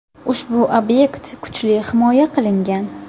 Ushbu obyekt kuchli himoya qilingan.